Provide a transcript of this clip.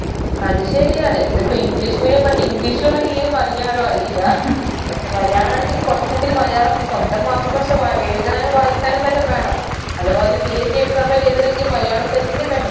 അത് ശരിയാണ് ഇതിപ്പൊ english medium പഠിച്ച് english ഉം അറിയെം മലയാളം അറിയില്ല പക്ഷെ മലയാളാണെങ്കിൽ കുറച്ചെങ്കിലും മലയാളം സ്വന്തം മാതൃഭാഷ വാ എഴുതാനോ വായിക്കാനും വല്ലം വേണം അഥവാ ഒരു PSCexam എല്ലം എഴുതണെങ്കി മലയാളം തന്നെ വേണം